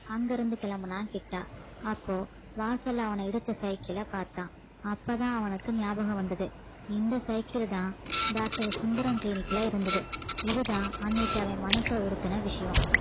அங்கிருந்து கிளம்பினான் கிட்டா அப்போ வாசல்ல அவன இடிச்ச cycle அ பார்த்தான் அப்பதான் அவனுக்கு ஞாபகம் வந்தது இந்த cycle தான் doctor சுந்தரம் clinic ல இருந்தது இதுதான் அன்னைக்கு அவன் மனச உறுத்தின விஷயம்